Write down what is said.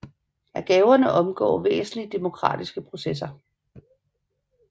At gaverne omgår væsentlige demokratiske processer